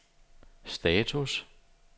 status